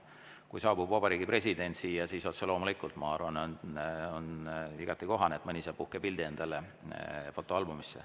Kui siia saabub vabariigi president, siis otse loomulikult, ma arvan, on igati kohane, et mõni saab uhke pildi endale fotoalbumisse.